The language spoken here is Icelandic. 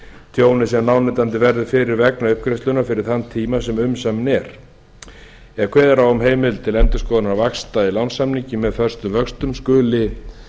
tjóni sem lánveitandi verður fyrir vegna uppgreiðslunnar fyrir þann tíma sem umsaminn er ef kveðið er á um heimild til endurskoðunar vaxta í lánssamningi með föstum vöxtum skuli